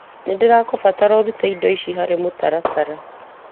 Nĩndĩragũbatara ũrute indo icio harĩ mũtaratara .